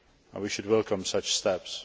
We should welcome such steps.